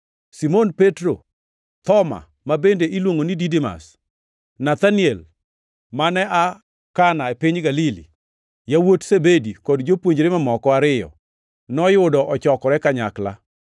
Simon Petro, Thoma (ma bende iluongo ni Didimas), Nathaniel mane aa Kana e piny Galili, yawuot Zebedi, kod jopuonjre mamoko ariyo, noyudo ochokore kanyakla.